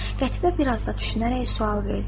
Qətibə bir az da düşünərək sual verdi: